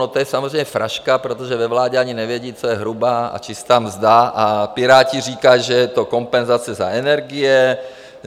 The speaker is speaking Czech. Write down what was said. No to je samozřejmě fraška, protože ve vládě ani nevědí, co je hrubá a čistá mzda, a Piráti říkají, že je to kompenzace za energie.